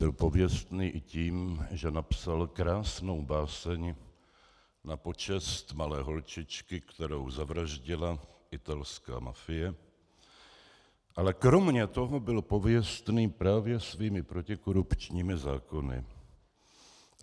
Byl pověstný i tím, že napsal krásnou báseň na počest malé holčičky, kterou zavraždila italská mafie, ale kromě toho byl pověstný právě svými protikorupčními zákony.